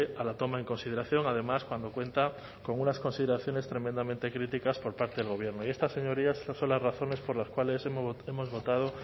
a la toma en consideración además cuando cuenta con unas consideraciones tremendamente críticas por parte del gobierno y estas señorías estas son las razones por las cuales hemos votado